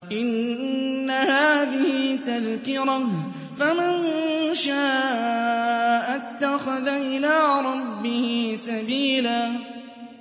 إِنَّ هَٰذِهِ تَذْكِرَةٌ ۖ فَمَن شَاءَ اتَّخَذَ إِلَىٰ رَبِّهِ سَبِيلًا